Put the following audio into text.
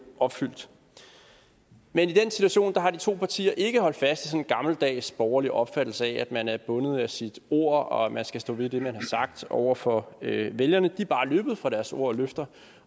opfyldt men i den situation har de to partier ikke holdt fast en gammeldags borgerlig opfattelse af at man er bundet af sit ord og at man skal stå ved det man har sagt over for vælgerne de er bare løbet fra deres ord og løfter